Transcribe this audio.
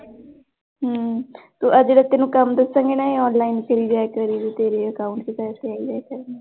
ਹਮ ਤੂੰ ਆਹ ਜਿਹੜੇ ਤੈਨੂੰ ਕੰਮ ਦੱਸਾਂਗੀ ਨਾ ਇਹ online ਕਰੀ ਜਾਇਆ ਕਰੀਂ ਤੇਰੇ account ਚ ਪੈਸੇ ਆਈ ਜਾਇਆ ਕਰਨਗੇ।